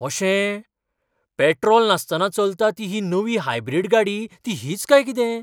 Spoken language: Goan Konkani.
अशें! पेट्रोल नासतना चलता ती नवी हायब्रीड गाडी ती हीच काय कितें?